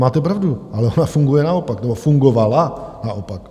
Máte pravdu, ale ona funguje naopak, nebo fungovala naopak.